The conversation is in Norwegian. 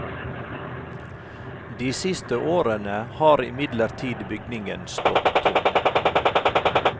De siste årene har imidlertid bygningen stått tom.